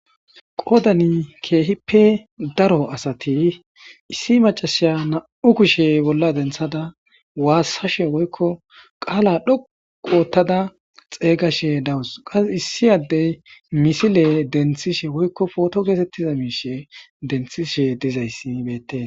Qoodani keehippe daro asati issi macasha nam7u kushe bolla denthada waassashe woykko qaala dhoqu ottada xeeygashe dawus qas issi addey misile denthishe woykko pooto geetettiza miishe denthishe dizayssi beete.